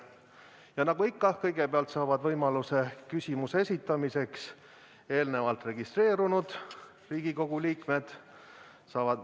Ja nagu ikka, kõigepealt saavad võimaluse küsimuse esitamiseks eelnevalt registreerunud Riigikogu liikmed.